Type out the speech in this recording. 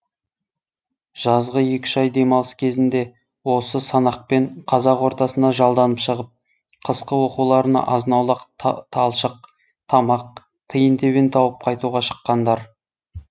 жазғы екі үш ай демалыс кезінде осы санақпен қазақ ортасына жалданып шығып қысқы оқуларына азын аулақ талшық тамақ тиын тебен тауып қайтуға шыққандар